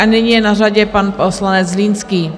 A nyní je na řadě pan poslanec Zlínský.